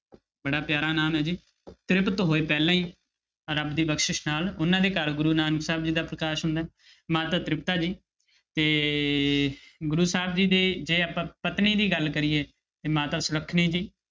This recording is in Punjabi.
ਬੜਾ ਪਿਆਰਾ ਨਾਮ ਹੈ ਜੀ ਤ੍ਰਿਪਤ ਹੋਏ ਪਹਿਲਾਂ ਹੀ ਰੱਬ ਦੀ ਬਖਸ਼ਿਸ਼ ਨਾਲ ਉਹਨਾਂ ਦੇ ਘਰ ਗੁਰੂ ਨਾਨਕ ਸਾਹਿਬ ਜੀ ਦਾ ਪ੍ਰਕਾਸ਼ ਹੁੰਦਾ ਹੈ ਮਾਤਾ ਤ੍ਰਿਪਤਾ ਜੀ ਤੇ ਗੁਰੂ ਸਾਹਿਬ ਜੀ ਦੇ ਜੇ ਆਪਾਂ ਪਤਨੀ ਦੀ ਗੱਲ ਕਰੀ ਤੇ ਮਾਤਾ ਸੁਲੱਖਣੀ ਜੀ।